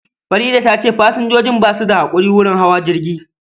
Faridah tace pasanjojin basu da hakuri wurin hawa jirgin